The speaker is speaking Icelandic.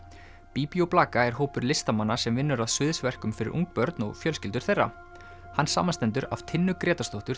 Bíbí og blaka er hópur listamanna sem vinnur að fyrir ung börn og fjölskyldur þeirra hann samanstendur af Tinnu Grétarsdóttur